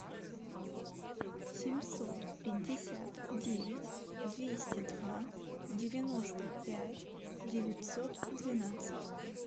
семьсот пятьдесят девять двести два девяносто пять девятьсот двенадцать